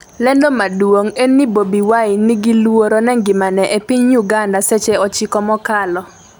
lendo maduong' en ni Bobi Wine 'ni gi luoro ne ngimane' e piny Uganda seche 9 mokalo